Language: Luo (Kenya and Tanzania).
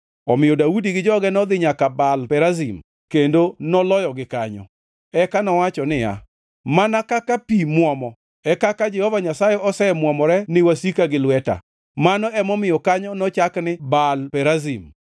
Omiyo Daudi gi joge nodhi nyaka Baal Perazim kendo noloyogi kanyo. Eka nowacho niya, “Mana kaka pi muomo, e kaka Jehova Nyasaye osemwomore ni wasika gi lweta.” Mano emomiyo kanyo nochak ni Baal Perazim.